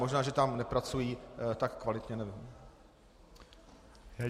Možná že tam nepracují tak kvalitně, nevím.